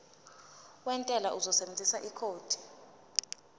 wentela uzosebenzisa ikhodi